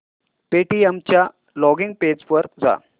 Paytm च्या login page वर जा